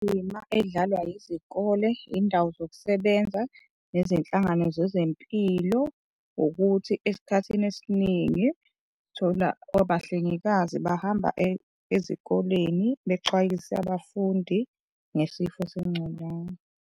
Indima edlalwa yizikole, yiy'ndawo zokusebenza nezinhlangano zezempilo ukuthi esikhathini esiningi uthola abahlengikazi bahamba ezikoleni bexwayise abafundi ngesifo sengculaza.